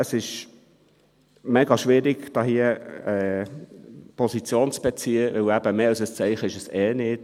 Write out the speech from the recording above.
Es ist mega schwierig, hier Position zu beziehen, denn mehr als ein Zeichen ist es eh nicht.